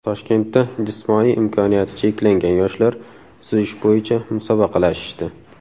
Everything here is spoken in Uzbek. Toshkentda jismoniy imkoniyati cheklangan yoshlar suzish bo‘yicha musobaqalashishdi.